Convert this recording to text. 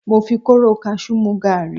Mo fi kóóró kasú mú gàárì.